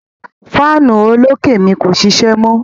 Fáànù olókè mi kò ṣíṣẹ́ mọ.